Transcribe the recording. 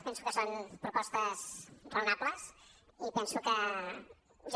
penso que són propostes raonables i penso que jo